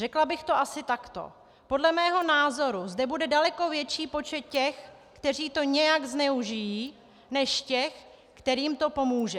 Řekla bych to asi takto: podle mého názoru zde bude daleko větší počet těch, kteří to nějak zneužijí, než těch, kterým to pomůže.